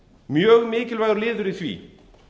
mjög mikilvægur liður í því